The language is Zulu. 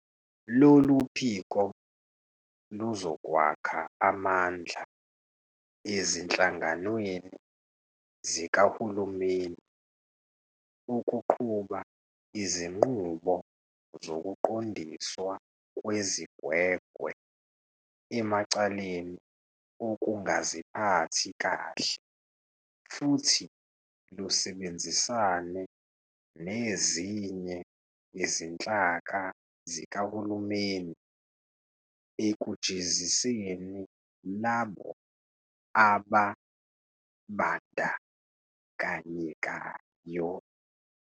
Lolu phiko luzokwakha amandla ezinhlanganweni zikahulumeni ukuqhuba izinqubo zokuqondiswa kwezigwegwe emacaleni okungaziphathi kahle futhi lusebenzisane nezinye izinhlaka zikahulumeni ekujeziseni labo ababandakanyekayo.